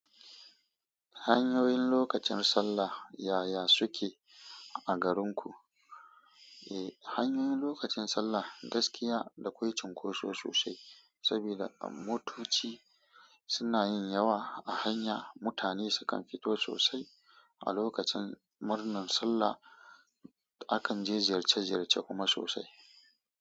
Hanyoyin lokacin sallah yaya suke a garinku? E, hanyoyin lokacin sallah gaskiya dakwai cunkoso sosai, saboda motoci suna yin yawa a hanya. Mutane sukan fito sosai a lokacin murnan sallah. Akan je ziyarce-ziyarce kuma sosai.